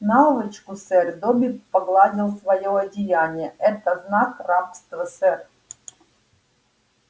наволочку сэр добби погладил своё одеяние это знак рабства сэр